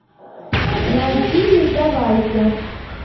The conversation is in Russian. найти не сдавайся